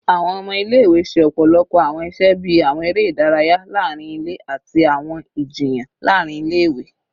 Awọn ọmọ ile-iwe ṣe ọpọlọpọ awọn iṣẹ bii awọn ere idaraya laarin ile ati awọn ijiyan laarin ile-iwe